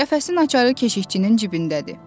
Qəfəsin açarı keşikçinin cibindədir.